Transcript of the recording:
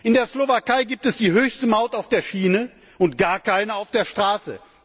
In der Slowakei gibt es die höchste Maut auf der Schiene und gar keine auf der Straße.